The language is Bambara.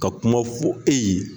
Ka kuma fo e ye